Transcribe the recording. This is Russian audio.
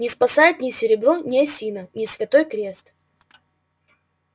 не спасает ни серебро ни осина ни святой крест